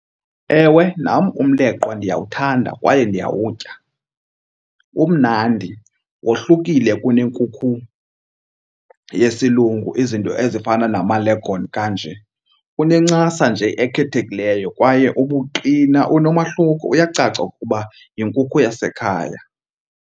Ewe, nam umleqwa ndiyawuthanda kwaye ndiyawutya. Umnandi, wohlukile kunenkukhu yesilungu izinto ezifana nama-leghorn kanje. Unencasa nje ekhethekileyo kwaye ubuqina unomahluko, uyacaca ukuba yinkukhu yasekhaya.